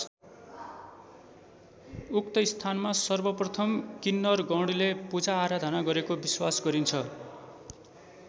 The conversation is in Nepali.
उक्त स्थानमा सर्वप्रथम किन्नरगणले पूजाआराधना गरेको विश्वास गरिन्छ।